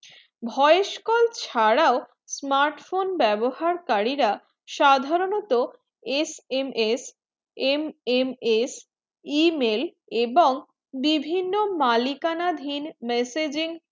voice call ছাড়াও smart phone বেবহার কারীতা সাধারনতঃ SMS, MMS email এবং বিভিন্ন মালিকানা ধহীন messageing